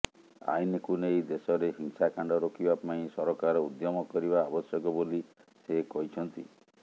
ଆଇନକୁ ନେଇ ଦେଶରେ ହିଂସାକାଣ୍ଡ ରୋକିବା ପାଇଁ ସରକାର ଉଦ୍ୟମ କରିବା ଆବଶ୍ୟକ ବୋଲି ସେ କହିଛନ୍ତି